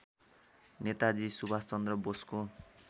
नेताजी सुभाषचन्द्र बोसको